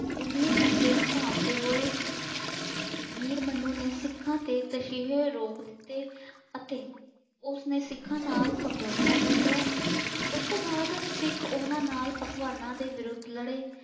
ਘੰਬੀਰ ਖ਼ਤਰੇ ਨੂੰ ਭਾਂਫ਼ਦੇ ਹੋਏ , ਮੀਰ ਮਨੂੰ ਨੇ ਸਿੱਖਾਂ ਤੇ ਤਸ਼ੀਹੇ ਰੋਕ ਦਿੱਤੇ ਅਤੇ ਉਸਨੇ ਸਿਖਾਂ ਨਾਲ ਸਮਝੌਤਾ ਕਰ ਲਿਆ। ਉਸਤੋਂ ਬਾਦ ਸਿੱਖ ਉਹਨਾਂ ਨਾਲ ਅਫਗਾਨਾ ਦੇ ਵਿਰੁੱਧ ਲੜੇ।